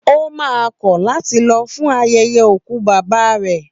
Ó maa kọ̀ láti lọ fún ayẹyẹ òkú bàbá rẹ̀